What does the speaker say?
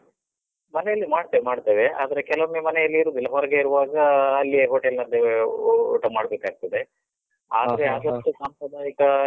ಮನೆಯಲ್ಲಿ ಮಾಡ್ತೇವ್~ ಮಾಡ್ತೇವೆ, ಆದ್ರೆ ಕೆಲವೊಮ್ಮೆ ಮನೆಯಲ್ಲಿ ಇರುದಿಲ್ಲ. ಹೊರಗೆ ಇರುವಾಗ ಅಲ್ಲಿಯೆ hotel ನಲ್ಲಿಯೇ ಊ ಊಟ ಮಾಡ್ಬೇಕಾಗ್ತದೆ. ಆದ್ರೆ ಆದಷ್ಟು ಸಾಂಪ್ರದಾಯಿಕ.